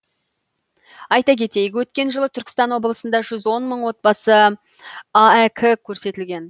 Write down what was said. айта кетейік өткен жылы түркістан облысында жүз он мың отбасына аәк көрсетілген